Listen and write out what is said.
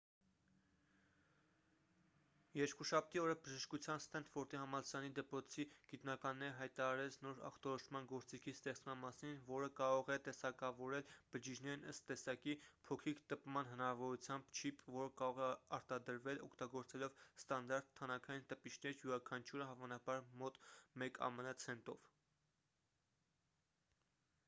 երկուշաբթի օրը բժշկության ստենֆորդի համալսարանի դպրոցի գիտնականները հայտարարեց նոր ախտորոշման գործիքի ստեղծման մասին որը կարող է տեսակավորել բջիջներն ըստ տեսակի փոքրիկ տպման հնարավորությամբ չիպ որը կարող է արտադրվել օգտագործելով ստանդարտ թանաքային տպիչներ յուրաքանչյուրը հավանաբար մոտ մեկ ամն ցենտով